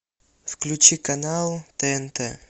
включи канал тнт